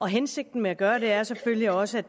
hensigten med at gøre det er selvfølgelig også